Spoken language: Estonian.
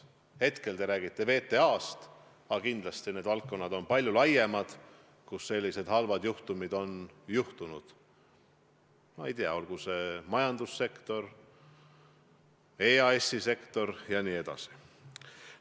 Hetkel te räägite VTA-st, aga kindlasti on neid valdkondi, kus selliseid halbu juhtumeid on juhtunud, palju rohkem – ma ei tea, olgu see majandussektor, EAS-i sektor jne.